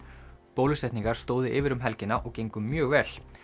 bólusetningar stóðu yfir um helgina og gengu mjög vel